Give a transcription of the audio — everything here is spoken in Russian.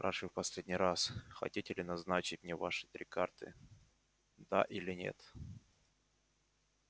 спрашиваю в последний раз хотите ли назначить мне ваши три карты да или нет